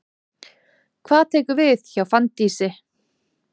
Hvað tekur við hjá Fanndísi?